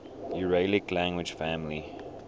uralic language family